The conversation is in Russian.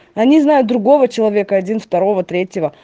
они знаю другого человека один второго третьего